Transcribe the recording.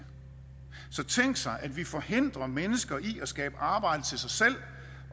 så tænk sig at vi forhindrer mennesker i at skabe arbejde til sig selv